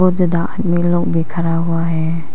में लोग भी खड़ा हुआ है।